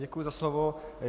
Děkuji za slovo.